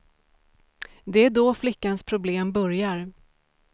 Det är då flickans problem börjar.